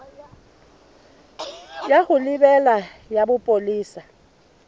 ya ho lebela ya bopolesa